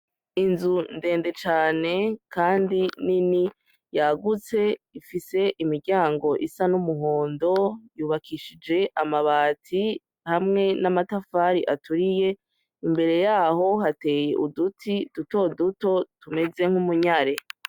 Inzu ndende cane, kandi nini yagutse ifise imiryango isa n'umuhondo yubakishije amabati hamwe n'amatafari aturiye imbere yaho hateye uduti dutoduto tumeze nk'umunyare.